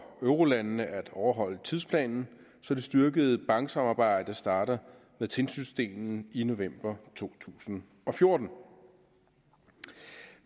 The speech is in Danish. eurolandene at overholde tidsplanen så det styrkede banksamarbejde starter med tilsynsdelen i november to tusind og fjorten